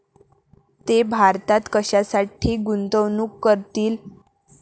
ते भारतात कशासाठी गुंतवणूक करतील?